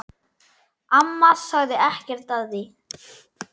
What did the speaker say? Amma sagði ekkert við því.